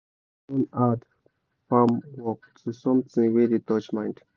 singing dey turn hard farm work to something wey dey touch mind